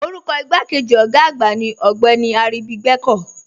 Orúkọ igbàkéjì ogá àgbà ní Ogbeni Aribígbẹ̀kọ̀.